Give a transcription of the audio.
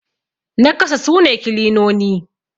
na kasa sune kilinoni